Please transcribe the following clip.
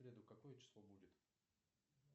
в среду какое число будет